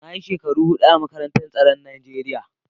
Na yi shekara hudu a makarantar tsaron Najeriya.